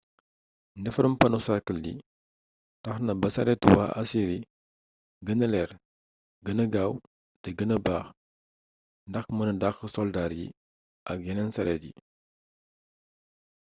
ndefarum pano cercle yi taxna ba saretu wa assyri guena leer guena gaw té guena baax ndax meun daq soldar yi ak yenen saret yi